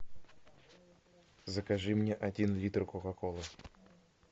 закажи мне один литр кока колы